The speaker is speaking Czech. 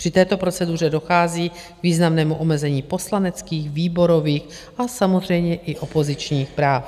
Při této proceduře dochází k významnému omezení poslaneckých, výborových a samozřejmě i opozičních práv.